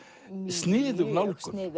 sniðug nálgun mjög